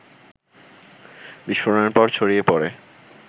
বিস্ফোরণের পর ছড়িয়ে পড়ে